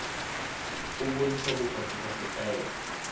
o bontsha bopaki ba setaele